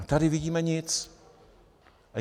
A tady nevidíme nic.